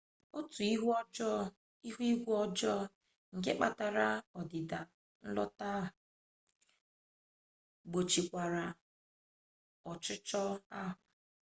otu ihu igwe ọjọọ nke kpatara ọdịda nlotu ahụ gbochikwara ọchịchọ ahụ